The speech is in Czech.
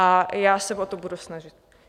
A já se o to budu snažit.